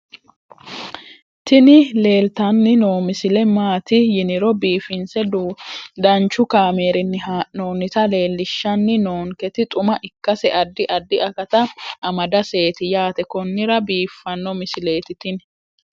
tini leeltanni noo misile maaati yiniro biifinse danchu kaamerinni haa'noonnita leellishshanni nonketi xuma ikkase addi addi akata amadaseeti yaate konnira biiffanno misileeti tini